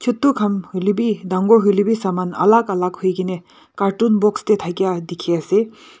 chotu khan hoilebi dangor hoilebi saman alak alak hoikene carton box te thakia dikhi ase.